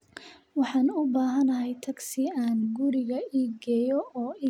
Waxaan u baahanahay tagsi aan guriga i geeyo oo i geeyo bartamaha magaalada